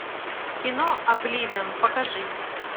кино обливион покажи